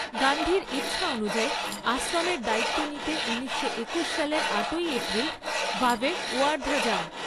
গান্ধীর ইচ্ছা অনুযায়ী আশ্রমের দায়িত্ব নিতে ঊনিশশো একুশ সালের আটই এপ্রিল ভাভে ওয়ার্ধা যান।